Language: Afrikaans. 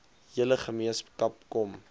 hele gemeenskap kom